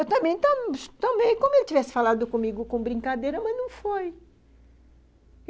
Eu também também como ele tivesse falado comigo com brincadeira, mas não foi.